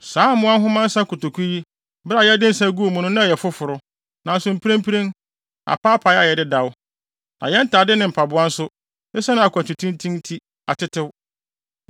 Saa mmoa nhoma nsa nkotoku yi, bere a yɛde nsa guu mu no na ɛyɛ foforo, nanso mprempren, apaapae ayɛ dedaw. Na yɛn ntade ne mpaboa nso, esiane akwantu tenten nti, atetew.”